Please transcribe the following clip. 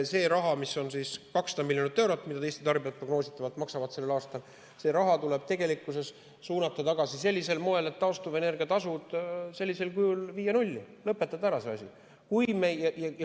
See raha, 200 miljonit eurot, mida Eesti tarbijad prognoositavalt maksavad sellel aastal, tuleb suunata tagasi sellisel moel, et taastuvenergia tasu sellisel kujul viia nulli, lõpetada see asi ära.